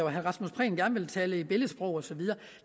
at herre rasmus prehn gerne vil tale i billedsprog og så videre